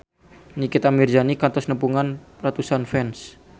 Nikita Mirzani kantos nepungan ratusan fans